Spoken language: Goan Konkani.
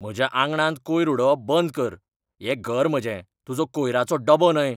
म्हज्या आंगणांत कोयर उडोवप बंद कर. हें घर म्हजें, तुजो कोयराचो डबो न्हय!